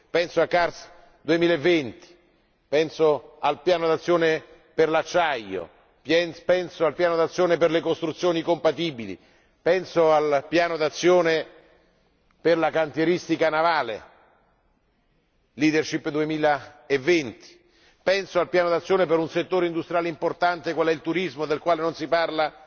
Penso a CARS 2020, penso al Piano d'azione per l'acciaio, penso al Piano d'azione per le costruzioni compatibili, penso al Piano d'azione per la cantieristica navale, LeaderSHIP 2020, penso al Piano d'azione per un settore industriale importante qual è il turismo, del quale non si parla